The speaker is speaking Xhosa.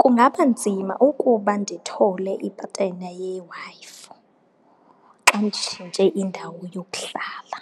Kungaba nzima ukuba ndithole ipatena yeWi-Fi xa nditshintshe indawo yokuhlala,